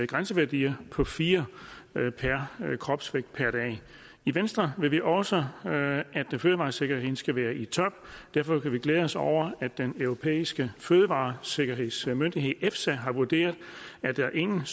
grænseværdi på fire μgkg kropsvægtdag i venstre vil vi også have at fødevaresikkerheden skal være i top derfor kan vi glæde os over at den europæiske fødevaresikkerhedsmyndighed efsa har vurderet at der ingen